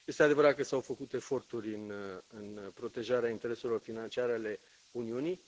Este adevărat că s au făcut eforturi în protejarea intereselor financiare ale Uniunii.